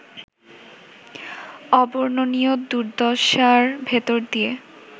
অবর্ণনীয় দুর্দশার ভেতর দিয়ে